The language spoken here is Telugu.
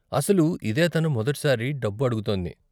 అసలు, ఇదే తను మొదటి సారి డబ్బు అడుగుతోంది.